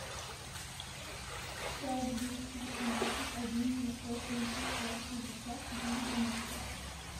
пять двести восемнадцать один девятьсот тридцать пять шестьдесят четыре двенадцать